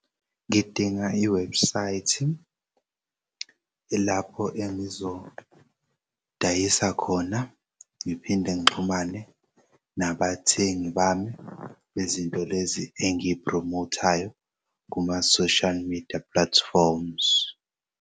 Ngidinga i-website lapho engizodayisa khona ngiphinde ngixhumane nabathengi bami bezinto lezi engiyiphromothayo kuma-social media platforms.